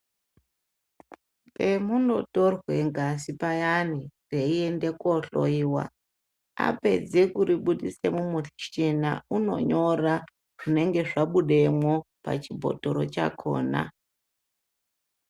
Pemunotorwe ngazi payani yeiende kohloiwa. Apedze kuribudisa mumushina unonyora zvinenge zvabebemwo pachibhotoro chakona.